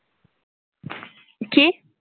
কি?